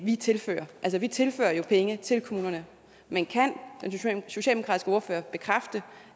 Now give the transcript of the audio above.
vi tilfører altså vi tilfører jo penge til kommunerne men kan den socialdemokratiske ordfører bekræfte